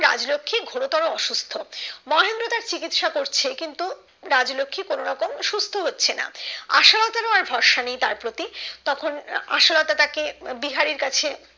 রাজলক্ষী ঘোরতর অসুস্থ মহেন্দ্র তার চিকিৎসা করছে কিন্তু রাজলক্ষী কোনো রকম সুস্থ হচ্ছে না আশালতার ও আর তার ভরসা নেই তার প্রতি তখন আশালতা তাকে বিহারীর কাছে